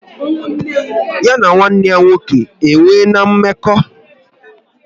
Ya na nwanne ya nwoke e nwere mmekọ?